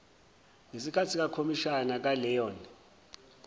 ngesikahthi sekhomishani kaleon